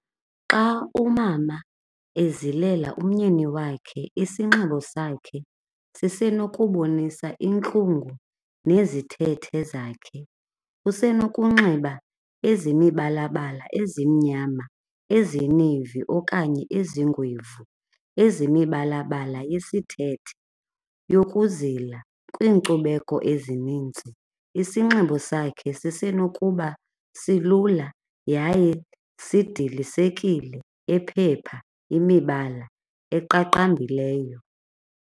Xa umama ezilela umyeni wakhe, isinxibo sakhe sisenokubonisa intlungu nezithethe zakhe. Usenokunxiba ezemibalabala, ezimnyama, ezineyivi okanye ezingwevu, ezemibalabala yesithethe yokuzila. Kwiinkcubeko ezininzi isinxibo sakhe sisenokuba silula yaye sidilisekile, ephepha imibala eqaqambileyo.